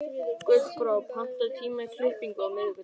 Gullbrá, pantaðu tíma í klippingu á miðvikudaginn.